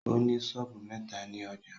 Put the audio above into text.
Ó ní sọ́ọ̀bù mẹ́ta ni ọjâ